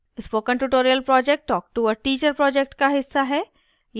spoken tutorial project talk to a teacher project का हिस्सा है